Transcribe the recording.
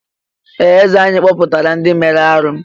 Ee! Eze anyị kpọpụtara ndị mere arụ́.